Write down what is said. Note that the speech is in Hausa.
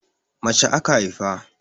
Mace aka haifa.